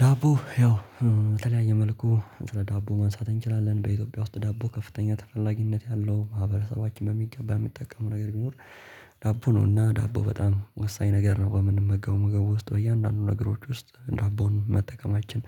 ዳቦ ያው በተለያየ መልኩ ስለ ዳቦ ማንሳት እንችላለን በኢትዮጵያ ውስጥ ዳቦ ከፍተኛ ተፈላጊነት ያለው ማህበረሰባችን በሚገባ የሚጠቀመው ነገር ቢኖር ዳቦ ነውና ዳቦ በጣም ወሳኝ ነገር ነው። በምንመገበው ምግብ ውስጥ በእያንዳንዱ ነገሮች ውስጥ ዳቦን መጠቀማችን